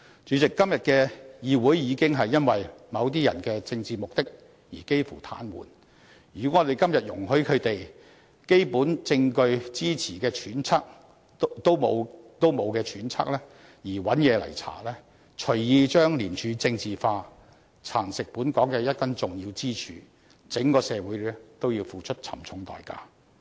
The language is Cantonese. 主席，今天的議會已經因為某些人的政治目的而幾乎癱瘓，如果我們今天容許他們基於缺乏基本證據支持的揣測而漫無目的進行徹查，隨意把廉署政治化，蠶食本港的一根重要支柱，則整個社會都要付出沉重的代價。